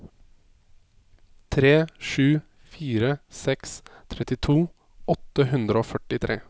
tre sju fire seks trettito åtte hundre og førtitre